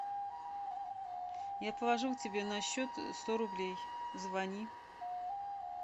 я положила тебе на счет сто рублей звони